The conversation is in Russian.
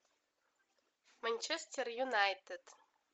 манчестер юнайтед